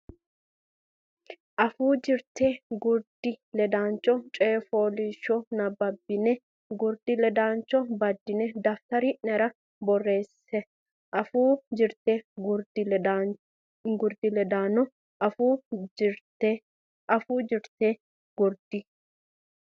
Afuu Jirte Gurdi Ledaano coy fooliishsho nabbabbine gurdi ledaano baddine daftari nera borreesse Afuu Jirte Gurdi Ledaano Afuu Jirte Gurdi.